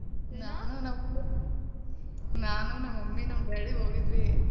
ನಾನು ನಮ್ ನಾನು ನಮ್ mummy ನಮ್ daddy ಹೋಗಿದ್ವಿ.